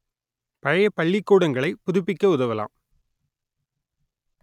பழைய பள்ளிக்கூடங்களை புதுப்பிக்க உதவலாம்